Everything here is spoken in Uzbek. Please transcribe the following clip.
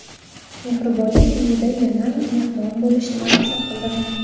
Mehribonlik uyida yana mehmon bo‘lishni maqsad qildim.